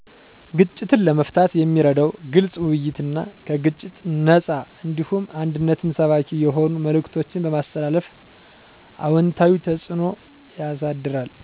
ግጭትን ለመፍታት የሚረዳው ግልፅ ውይይትና ከግጭት ነፃ እንዲሁም አንድነትን ሰባኪ የሆኑ መልዕክቶችን በማስተላለፍ አዎንታዊ ተፅኖ ያሳድራል።